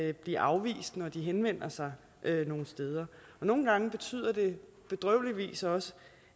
at blive afvist når de henvender sig nogle steder nogle gange betyder det bedrøveligvis også